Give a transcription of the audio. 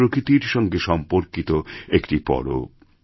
এটি প্রকৃতির সঙ্গেসম্পর্কিত একটি পরব